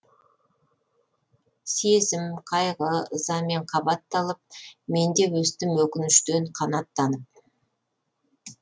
сезім қайғы ызамен қабатталып мен де өстім өкініштен қанаттанып